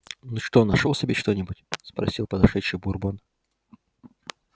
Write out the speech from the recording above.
ну что нашёл себе что-нибудь спросил подошедший бурбон